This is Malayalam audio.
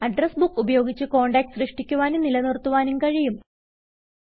അഡ്രസ് ബുക്ക് ഉപയോഗിച്ച് കോണ്ടാക്ട്സ് സൃഷ്ടിക്കുവാനും നിലനിർത്തുവാനും കഴിയും